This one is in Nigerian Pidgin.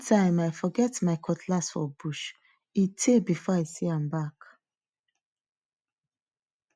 one time i forget my cutlass for bush e tey before i see am back